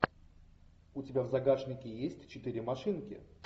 у тебя в загашнике есть четыре машинки